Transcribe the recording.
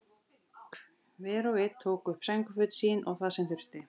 Hver og einn tók upp sængurföt sín og það sem þurfti.